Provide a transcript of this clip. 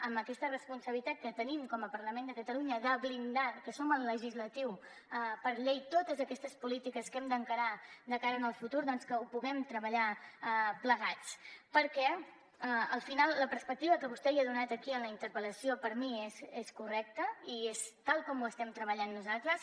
amb aquesta responsabilitat que tenim com a parlament de catalunya de blindar perquè som el legislatiu per llei totes aquestes polítiques que hem d’encarar de cara al futur doncs que ho puguem treballar plegats perquè al final la perspectiva que vostè hi ha donat aquí en la interpel·lació per mi és correcta i és tal com ho estem treballant nosaltres